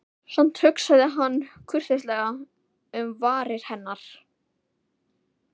Samt hugsaði hann kurteislega um varir hennar.